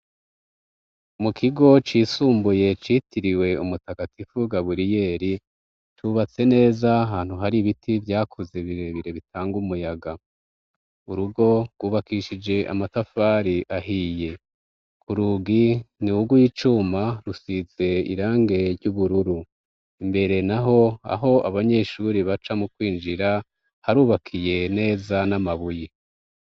Mu kigo cisumbuye citiriwe umutagatifu Gaburiyeri cubatse neza ahantu hari ibiti vyakuze birebire bitanga umuyaga. Urugo rwubakishije amatafari ahiye ku rugi ni ugw'icuma rusize irangi ry'ubururu imbere naho aho abanyeshuri baca mu kwinjira harubakiye neza n'amabuye.